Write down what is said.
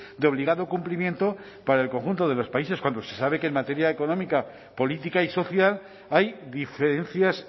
de obligado cumplimiento para el conjunto de los países cuando se sabe que en materia económica política y social hay diferencias